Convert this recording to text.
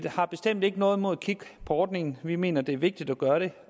har bestemt ikke noget imod at kigge på ordningen vi mener det er vigtigt at gøre det